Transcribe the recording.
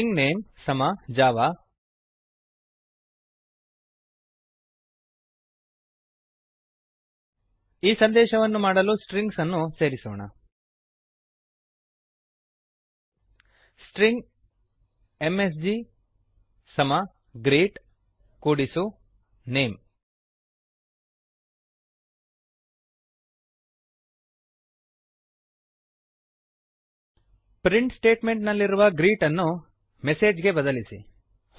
string name string name ಸಮ Java Java ಈಗ ಸಂದೇಶವನ್ನು ಮಾಡಲು ಸ್ಟ್ರಿಂಗ್ಸನ್ನು ಸೇರಿಸೋಣ string M S G string M S G ಸಮ ಗ್ರೀಟ್ ಗ್ರೀಟ್ ಕೂಡಿಸು name name print statement ನಲ್ಲಿರುವ ಗ್ರೀಟನ್ನು ಪ್ರಿಂಟ್ಲ್ನ ಮೆಸೇಜ್ ಪ್ರಿಂಟ್ಲ್ನ ಗೆ ಬದಲಿಸಿ